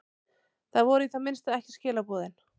Það voru í það minnsta ekki skilaboðin.